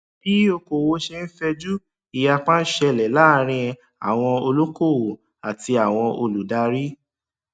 bí okòwò ṣe ń fẹjú ìyapa ń ṣẹlẹ láàárín àwon olokowo àti àwọn olùdarí